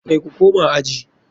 Kai ku koma aji.